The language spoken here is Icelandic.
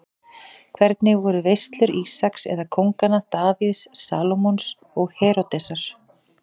Hvernig voru veislur Ísaks eða kónganna Davíðs, Salómons og Heródesar?